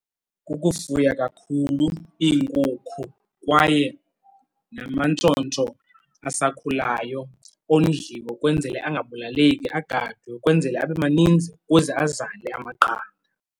Ukufuya kakhulu iinkukhu kwaye namantshontsho asakhulayo ondliwe ukwenzele angabulaleki agadwe, ukwenzela abe maninzi ukuze azale amaqanda.